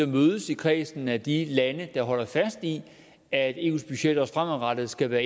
mødes i kredsen af de lande der holder fast i at eus budget også fremadrettet skal være